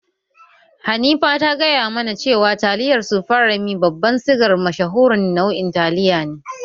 Hanifa ta gaya mana cewa taliyar sufreme babban sigar mashahurin nau'in taliya ne